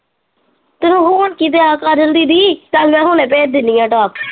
ਹੋਣ ਕਿ ਡੇਆ ਕਾਜਲ ਦੀਦੀ ਚਲ ਮੈਂ ਹੁਣੇ ਭੇਜ ਦਿੰਨੀ ਆ ਟਾਪ।